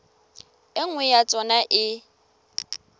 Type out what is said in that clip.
e nngwe ya tsona e